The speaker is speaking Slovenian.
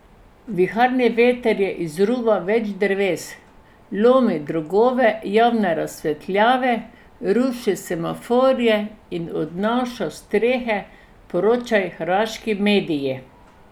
Viharni veter je izruval več dreves, lomil drogove javne razsvetljave, rušil semaforje in odnašal strehe, poročajo hrvaški mediji.